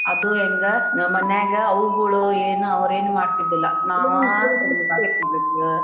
ಅದೂ ಹೆಂಗ ನಮ್ಮನ್ಯಾಗ ಅವ್ಗುಳು ಏನು ಅವ್ರೇನೂ ಮಾಡ್ತಿದ್ದಿಲ್ಲ ನಾವಾ .